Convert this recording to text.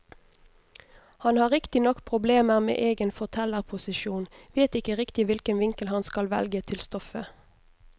Han har riktignok problemer med egen fortellerposisjon, vet ikke riktig hvilken vinkel han skal velge til stoffet.